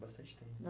Bastante tempo.